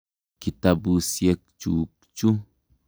Kitapusyek chuk chu.